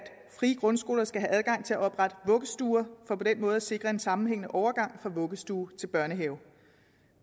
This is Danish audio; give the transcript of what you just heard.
frie grundskoler skal have adgang til at oprette vuggestuer for på den måde at sikre en sammenhængende overgang fra vuggestue til børnehave